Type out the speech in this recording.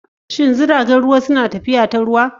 Shin jiragen ruwa suna tafiya ta ruwa?